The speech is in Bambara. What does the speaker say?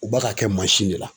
U ba ka kɛ de la.